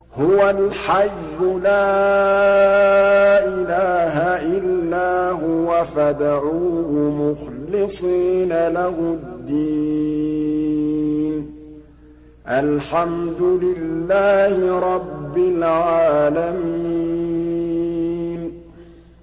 هُوَ الْحَيُّ لَا إِلَٰهَ إِلَّا هُوَ فَادْعُوهُ مُخْلِصِينَ لَهُ الدِّينَ ۗ الْحَمْدُ لِلَّهِ رَبِّ الْعَالَمِينَ